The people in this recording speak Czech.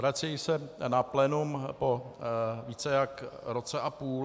Vracejí se na plénum po více než roce a půl.